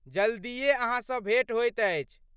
जल्दिए अहाँसँ भेंट होइत अछि!